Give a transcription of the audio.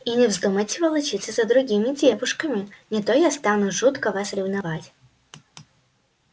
и не вздумайте волочиться за другими девушками не то я стану жутко вас ревновать